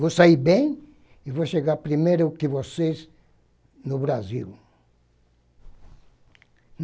Vou sair bem e vou chegar primeiro que vocês no Brasil.